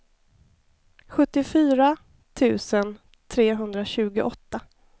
sjuttiofyra tusen trehundratjugoåtta